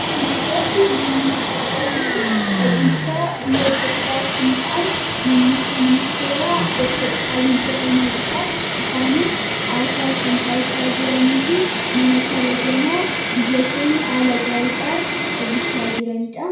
Kana irratti namni nuti argaa jirru bulchaa biyya Itoopiyaa kan ta'an mummicha ministeeraa Dr. Abiyyi Ahmadiidha. Isaanis haasaa kan taasisaa jiranii fi nama kabajamaa biyya keenya haala gaariidhaan bulchaa jiraniidha.